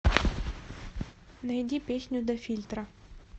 найди песню до фильтра